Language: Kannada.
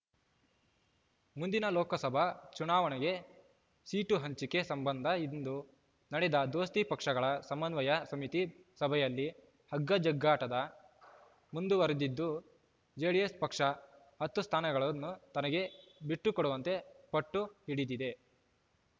ಮುಂದಿನ ಲೋಕಸಭಾ ಚುನಾವಣೆಗೆ ಸೀಟು ಹಂಚಿಕೆ ಸಂಬಂಧ ಇಂದು ನಡೆದ ದೋಸ್ತಿ ಪಕ್ಷಗಳ ಸಮನ್ವಯ ಸಮಿತಿ ಸಭೆಯಲ್ಲಿ ಹಗ್ಗಜಗ್ಗಾಟದ ಮುಂದುವರೆದಿದ್ದು ಜೆಡಿಎಸ್ ಪಕ್ಷ ಹತ್ತು ಸ್ಥಾನಗಳನ್ನು ತನಗೆ ಬಿಟ್ಟುಕೊಡುವಂತೆ ಪಟ್ಟು ಹಿಡಿದಿದೆ